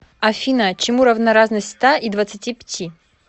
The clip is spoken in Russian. афина чему равна разность ста и двадцати пяти